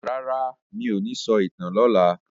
Rara, mí ò ní sọ ìtàn lọla.